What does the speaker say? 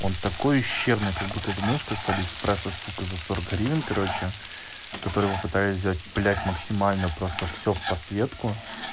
он такой ущербный как будто это мышка с алиэкспресса сука за сорок гривен короче которую мы пытались взять блять максимально просто все в подсветку